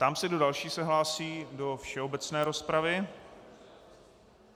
Ptám se, kdo další se hlásí do všeobecné rozpravy.